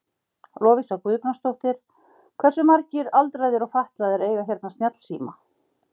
Lovísa Guðbrandsdóttir: Hversu margir aldraðir og fatlaðir eiga hérna snjallsíma?